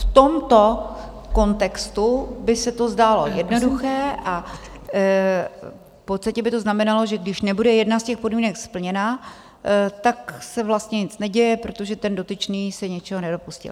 V tomto kontextu by se to zdálo jednoduché a v podstatě by to znamenalo, že když nebude jedna z těch podmínek splněna, tak se vlastně nic neděje, protože ten dotyčný se ničeho nedopustil.